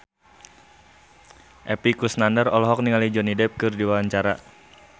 Epy Kusnandar olohok ningali Johnny Depp keur diwawancara